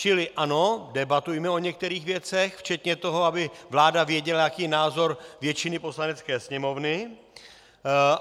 Čili ano, debatujme o některých věcech, včetně toho, aby vláda věděla, jaký je názor většiny Poslanecké sněmovny.